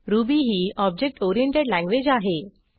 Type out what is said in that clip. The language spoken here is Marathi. रुबी ही ऑब्जेक्ट ओरिएंटेड लँग्वेज आहे